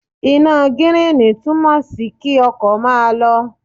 Iná gíríìnì túmọ̀ sí kí ọkọ̀ máa lọ.